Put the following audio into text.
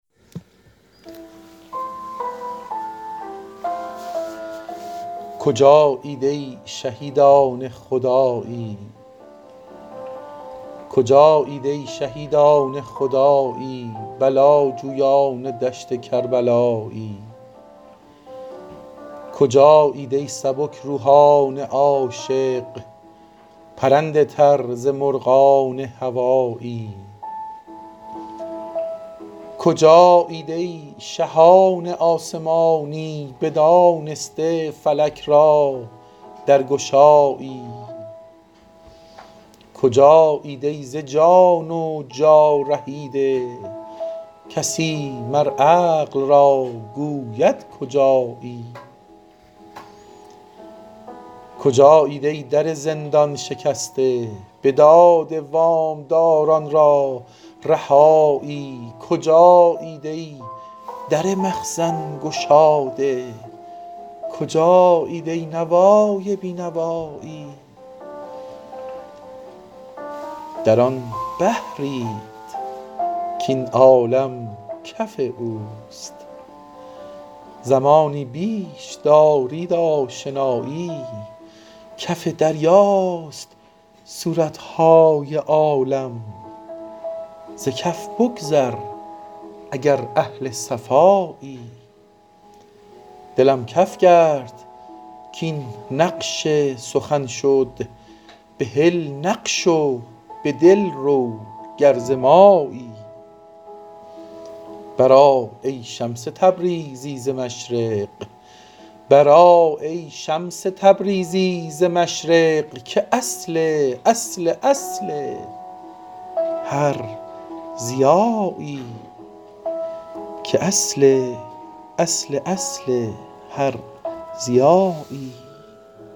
کجایید ای شهیدان خدایی بلاجویان دشت کربلایی کجایید ای سبک روحان عاشق پرنده تر ز مرغان هوایی کجایید ای شهان آسمانی بدانسته فلک را درگشایی کجایید ای ز جان و جا رهیده کسی مر عقل را گوید کجایی کجایید ای در زندان شکسته بداده وام داران را رهایی کجایید ای در مخزن گشاده کجایید ای نوای بی نوایی در آن بحرید کاین عالم کف اوست زمانی بیش دارید آشنایی کف دریاست صورت های عالم ز کف بگذر اگر اهل صفایی دلم کف کرد کاین نقش سخن شد بهل نقش و به دل رو گر ز مایی برآ ای شمس تبریزی ز مشرق که اصل اصل اصل هر ضیایی